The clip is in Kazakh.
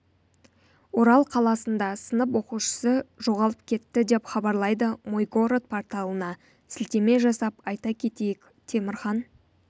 орал қаласында сынып оқушысы жоғалып кетті деп хабарлайды мой город порталына сілтеме жасап айта кетейік темірхан